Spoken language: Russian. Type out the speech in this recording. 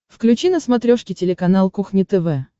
включи на смотрешке телеканал кухня тв